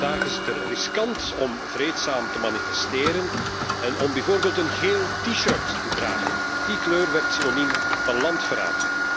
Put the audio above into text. Vandaag is het er riskant om vreedzaam te manifesteren en om bijvoorbeeld een geel T shirt te dragen, want die kleur werd synoniem van landverraad.